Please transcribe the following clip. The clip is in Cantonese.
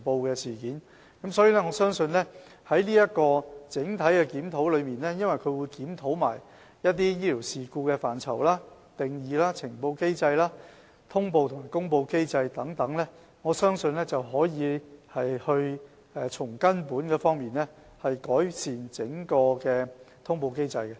由於今次這項整體檢討，會一併檢討醫療事故的範疇、定義、呈報機制、通報和公布機制等，所以我相信可以從根本改善整個通報機制。